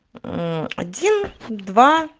один два